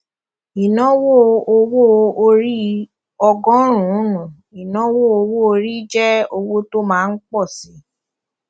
ìnáwó owó orí ọgọrùnún ìnáwó owó orí jẹ owó tó má ńpọ síi